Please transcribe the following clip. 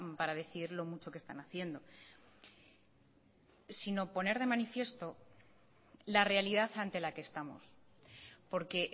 para decir lo mucho que están haciendo sino poner de manifiesto la realidad ante la que estamos porque